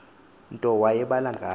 nto wayebhala ngayo